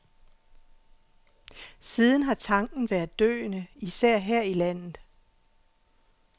Siden har tanken været døende, især her i landet.